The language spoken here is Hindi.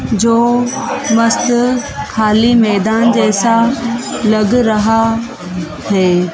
जो मस्त खाली मैदान जैसा लग रहा है।